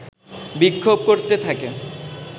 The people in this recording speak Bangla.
বিক্ষোভ করতে থাকে